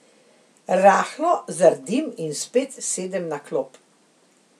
Rahlo zardim in spet sedem na klop.